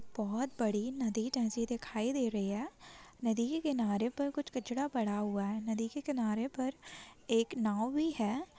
बहुत बड़ी नदी जैसी दिखाई दे रही है नदी के किनारे पर कुछ कचरा पड़ा हुआ है नदी के किनारे पर एक नाव भी है।